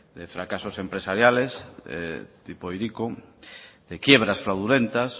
de fracasos empresariales tipo hiriko de quiebras fraudulentas